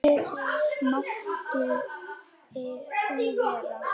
Fyrr mátti nú vera!